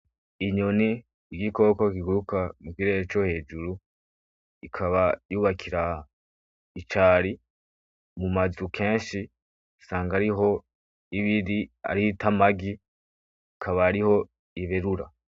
Inyoni igikoko kiguruka mu kirere co hejuru ikaba yubakira icari mumazu kenshi isanga ariho ibiri ariho itamagi ikaba ariho iberura.